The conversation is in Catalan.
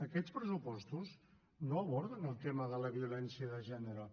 aquests pressupostos no aborden el tema de la violència de gènere